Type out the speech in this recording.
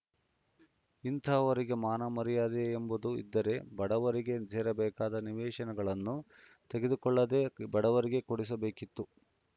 ಇಂತಹವರಿಗೆ ಮಾನ ಮರ್ಯಾದೆಯೆಂಬುದು ಇದ್ದರೆ ಬಡವರಿಗೆ ಸೇರಬೇಕಾದ ನಿವೇಶನಗಳನ್ನು ತೆಗೆದುಕೊಳ್ಳದೇ ಬಡವರಿಗೆ ಕೊಡಿಸಬೇಕಿತ್ತು